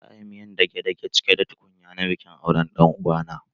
Za a yi miyar dage-dage cike da tukunya na bikin auren ɗan uwa na.